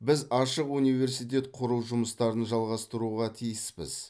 біз ашық университет құру жұмыстарын жалғастыруға тиіспіз